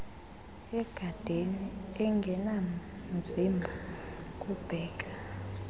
egadeni engenamzimba kubheka